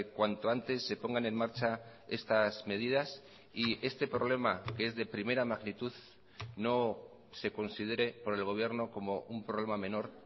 cuanto antes se pongan en marcha estas medidas y este problema que es de primera magnitud no se considere por el gobierno como un problema menor